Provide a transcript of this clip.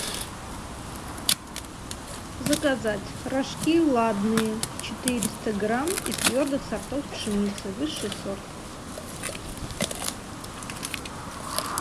заказать рожки ладные четыреста грамм из твердых сортов пшеницы высший сорт